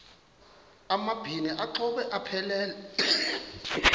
amabini exhobe aphelela